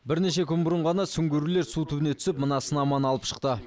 бірнеше күн бұрын ғана сүңгуірлер су түбіне түсіп мына сынаманы алып шықты